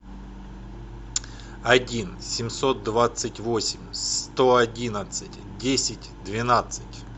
один семьсот двадцать восемь сто одинадцать десять двенадцать